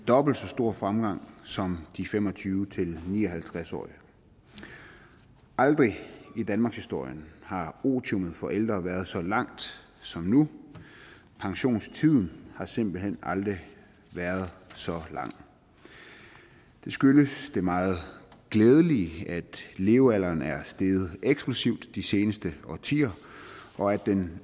dobbelt så stor fremgang som de fem og tyve til ni og halvtreds årige aldrig i danmarkshistorien har otiummet for ældre været så langt som nu pensionstiden har simpelt hen aldrig været så lang det skyldes det meget glædelige at levealderen er steget eksplosivt de seneste årtier og at den